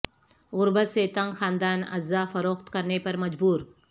غربت سے تنگ خاندان اعضا فروخت کرنے پر مجبور